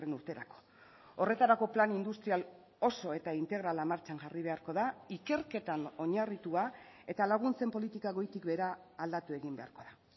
urterako horretarako plan industrial oso eta integrala martxan jarri beharko da ikerketan oinarritua eta laguntzen politika goitik behera aldatu egin beharko da